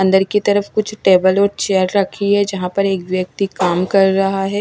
अंदर की तरफ कुछ टेबल और चेयर रखी है जहां पर एक व्यक्ति काम कर रहा है।